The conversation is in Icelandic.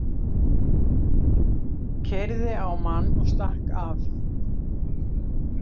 Keyrði á mann og stakk af